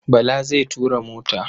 Bala zai tura mota.